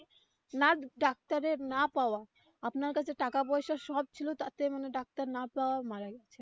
না ডাক্তারের না পাওয়া আপনার কাছে টাকা পয়সা সব ছিল তাতে মানে ডাক্তার না পাওয়ায় মারা গেছে.